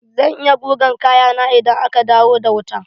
Zan yi gugan kayana idan aka dawo da wuta.